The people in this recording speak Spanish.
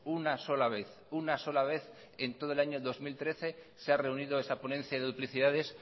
una sola vez una sola vez en todo el año dos mil trece se ha reunido esa ponencia de duplicidades